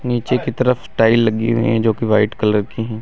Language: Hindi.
नीचे की तरफ टाइल लगी हुई है जो की वाइट कलर की है।